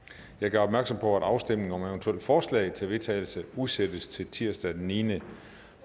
jeg gør opmærksom på at afstemningen om eventuelle forslag til vedtagelse udsættes til tirsdag den niende